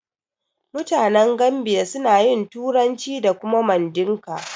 Mutanen Gambiya suna yin turanci da kuma Mandinka.